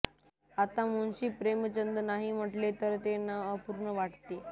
आता मुन्शी प्रेमचंद नाही म्हटले तर ते नाव अपूर्ण वाटते